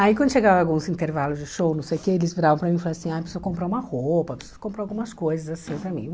Aí quando chegava alguns intervalos de show, não sei o quê, eles viravam para mim e falavam assim, ah, preciso comprar uma roupa, preciso comprar algumas coisas assim para mim.